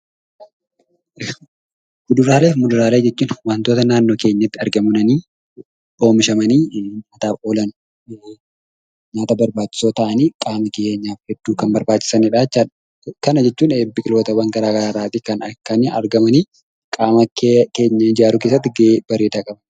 Kuduraalee fi muduraalee jechuun wantoota naannoo keenyatti argamanii, oomishamanii gurgurtaadhaaf oolan, nyaata barbaachisoo ta'anii qaamni keenyaaf hedduu kan barbaachisanidha jechaadha. Kana jechuun biqilootawwan gara garaa irraatii kan argamanii qaama keenya ijaaruu keessatti gahee bareedaa qabu.